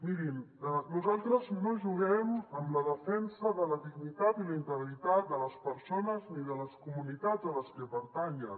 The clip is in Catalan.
mirin nosaltres no juguem amb la defensa de la dignitat i la integritat de les persones ni de les comunitats a les que pertanyen